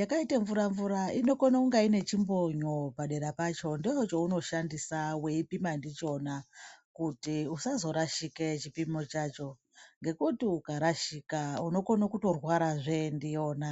yakaite mvura mvura inokona kunge ine chimbonyo padera pacho ndochaunoshandisa weipima ndichona kuti usazorashike chipimo chacho ngekuti ukarashika unokone kutorwarazve ndiyona.